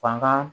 Fanga